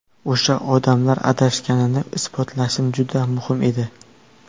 O‘sha odamlar adashganini isbotlashim juda muhim edi.